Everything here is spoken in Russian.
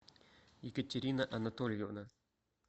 екатерина анатольевна